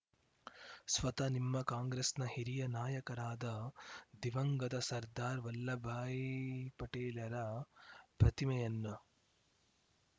ಸ್ವತಃ ನಿಮ್ಮ ಕಾಂಗ್ರೆಸ್‌ನ ಹಿರಿಯ ನಾಯಕರಾದ ದಿವಂಗತ ಸರ್ದಾರ್‌ ವಲ್ಲಭಭಾಯ್‌ ಪಟೇಲರ ಪ್ರತಿಮೆಯನ್ನ